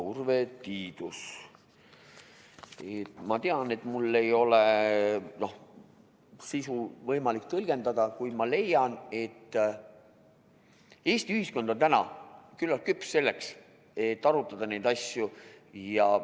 Ma tean, et mul ei ole sisu võimalik tõlgendada, kuid ma leian, et Eesti ühiskond on täna küllalt küps selleks, et neid asju arutada.